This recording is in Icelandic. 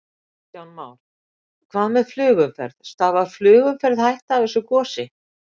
Kristján Már: Hvað með flugumferð, stafar flugumferð hætta af þessu gosi?